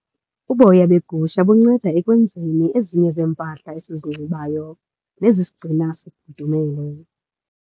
Uboya begusha bunceda ekwenzeni ezinye zeempahla esizinxibayo nezisigcina sifudumele.